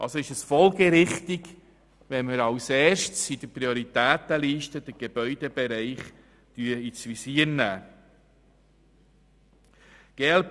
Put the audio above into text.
Somit ist es folgerichtig, wenn wir zuerst den Gebäudebereich ins Visier nehmen.